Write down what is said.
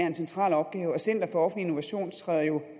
en central opgave og center for offentlig innovation træder jo